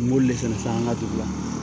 N b'olu de fɛnɛ san an ka dugu la